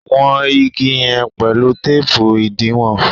wón ìgi yen pẹlu teepu idiwọn